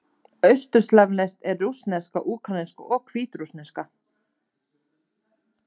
Austurslavnesk eru: rússneska, úkraínska og hvítrússneska.